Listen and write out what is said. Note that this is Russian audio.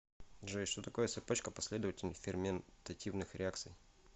джой что такое цепочка последовательных ферментативных реакций